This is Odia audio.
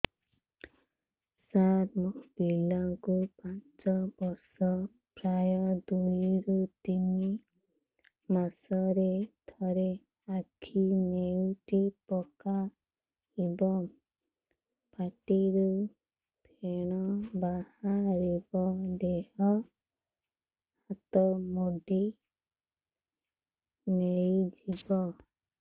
ସାର ମୋ ପିଲା କୁ ପାଞ୍ଚ ବର୍ଷ ପ୍ରାୟ ଦୁଇରୁ ତିନି ମାସ ରେ ଥରେ ଆଖି ନେଉଟି ପକାଇବ ପାଟିରୁ ଫେଣ ବାହାରିବ ଦେହ ହାତ ମୋଡି ନେଇଯିବ